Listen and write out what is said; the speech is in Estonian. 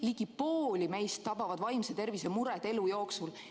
Ligi pooli meist tabavad vaimse tervise mured elu jooksul.